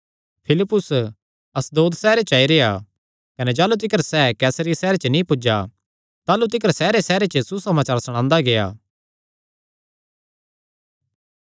फिलिप्पुस अशदोद सैहरे च आई रेह्आ कने जाह़लू तिकर सैह़ कैसरिया सैहरे च नीं पुज्जा ताह़लू तिकर सैहरेसैहरे च सुसमाचार सणांदा गेआ